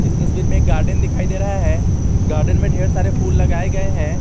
इस तस्वीर में एक गार्डन दिखाई दे रहा है गार्डन में ढेर सारे फूल लगाए गए हैं।